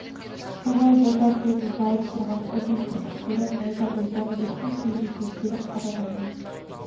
сонау бота көзін жауып тұрған ұзын кірпіктері найзадай жәнібектің кеудесіне келіп қадалғандай